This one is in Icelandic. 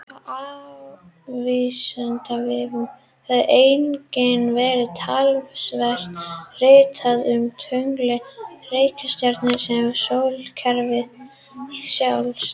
Á Vísindavefnum hefur einnig verið talsvert ritað um tunglin, reikistjörnurnar sem og sólkerfið sjálft.